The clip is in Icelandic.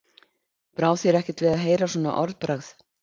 Brá þér ekkert við að heyra svona orðbragð?